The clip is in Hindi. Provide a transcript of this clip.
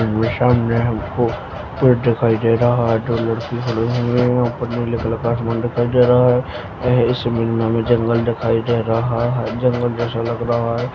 ये सामने हमको पेड़ दिखाई दे रहा है दो लड़के खड़े हुए है ऊपर नीले कलर का आसमान दिखाई दे रहा है ये इस इमेज में हमें जंगल दिखाई दे रहा है जंगल जैसा लग रहा है।